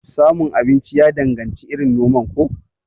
Samun abinci ya danganci irin noman ko?